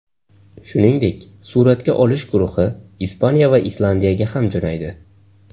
Shuningdek, suratga olish guruhi Ispaniya va Islandiyaga ham jo‘naydi.